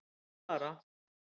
Ég mátti fara.